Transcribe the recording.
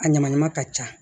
A ɲamaɲama ka ca